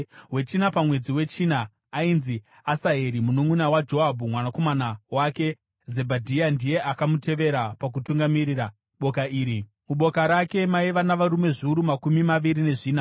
Wechina pamwedzi wechina, aiva Asaheri mununʼuna waJoabhu; mwanakomana wake Zebhadhia ndiye akamutevera pakutungamirira boka iri. Muboka rake maiva navarume zviuru makumi maviri nezvina.